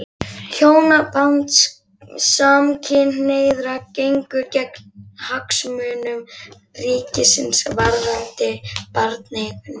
Hjónaband samkynhneigðra gengur gegn hagsmunum ríkisins varðandi barneignir.